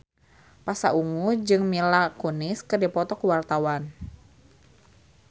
Pasha Ungu jeung Mila Kunis keur dipoto ku wartawan